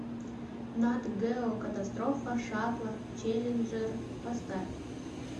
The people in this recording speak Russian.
нат гео катастрофа шаттла челленджер поставь